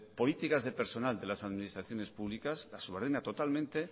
políticas de personal de las administraciones públicas las subordina totalmente